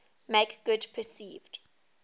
make good perceived